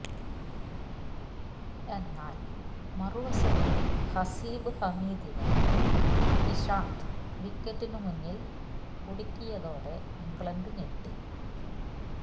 എന്നാൽ മറുവശത്ത് ഹസീബ് ഹമീദിനെ ഇഷാന്ത് വിക്കറ്റിന് മുന്നിൽ കുടുക്കിയതോടെ ഇംഗ്ലണ്ട് ഞെട്ടി